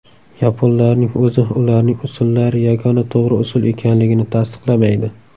Yaponlarning o‘zi ularning usullari yagona to‘g‘ri usul ekanligini tasdiqlamaydi.